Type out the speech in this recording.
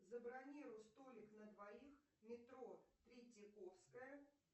забронируй столик на двоих метро третьяковская